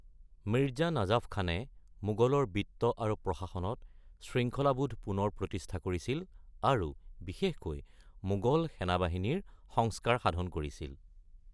মিৰ্জা নাজাফ খানে মোগলৰ বিত্ত আৰু প্ৰশাসনত শৃংখলাবোধ পুনৰ প্ৰতিষ্ঠা কৰিছিল আৰু বিশেষকৈ মোগল সেনাবাহিনীৰ সংস্কাৰ সাধন কৰিছিল।